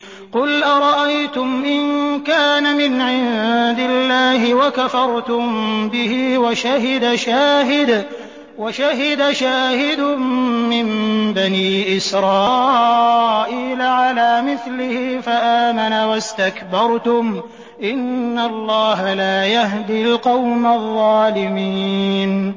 قُلْ أَرَأَيْتُمْ إِن كَانَ مِنْ عِندِ اللَّهِ وَكَفَرْتُم بِهِ وَشَهِدَ شَاهِدٌ مِّن بَنِي إِسْرَائِيلَ عَلَىٰ مِثْلِهِ فَآمَنَ وَاسْتَكْبَرْتُمْ ۖ إِنَّ اللَّهَ لَا يَهْدِي الْقَوْمَ الظَّالِمِينَ